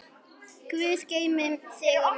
Guð geymi þig og mömmu.